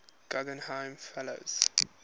guggenheim fellows